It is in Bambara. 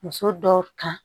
Muso dɔw kan